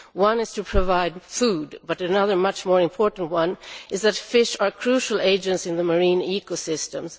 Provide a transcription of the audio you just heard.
One is to provide food, but another much more important one is that fish are crucial agents in the marine ecosystems.